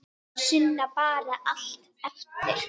Sunna: Bara allt eftir?